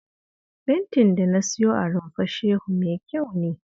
Fentin da na siyo a Rumfar Shehu mai kyau ne